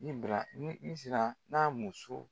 N bira ni sira n'a muso